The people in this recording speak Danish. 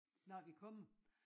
Når vi kommer